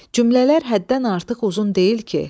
Cümlələr həddən artıq uzun deyil ki?